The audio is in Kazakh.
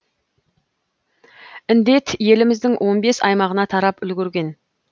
індет еліміздің он бес аймағына тарап үлгерген